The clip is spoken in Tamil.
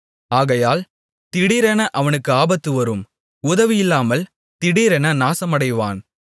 ஆகையால் திடீரென அவனுக்கு ஆபத்து வரும் உதவியில்லாமல் திடீரென நாசமடைவான்